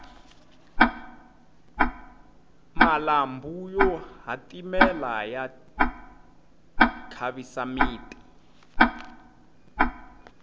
malambhu yo hatimela ya khavisa miti